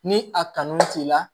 Ni a kanu t'i la